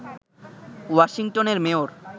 ওয়াশিংটনের মেয়র